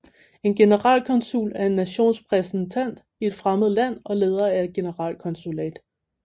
En generalkonsul er en nations repræsentant i et fremmed land og leder af et generalkonsulat